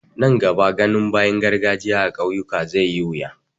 Nan gaba ganin bayin garkajiya a ƙauyuka zai yi wuya.